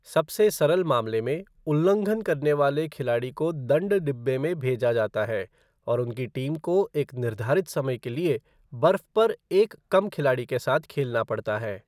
सबसे सरल मामले में, उल्लंघन करने वाले खिलाड़ी को दंड डिब्बे में भेजा जाता है और उनकी टीम को एक निर्धारित समय के लिए बर्फ पर एक कम खिलाड़ी के साथ खेलना पड़ता है।